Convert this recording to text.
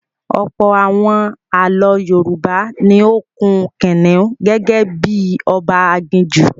Ọ̀pọ̀ àwọn ààlọ́ Yorùbá ni ó kun kìnìún gẹ́gẹ́ bí i ọba aginjù.